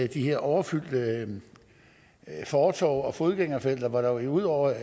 de her overfyldte fortove og fodgængerfelter hvor der ud over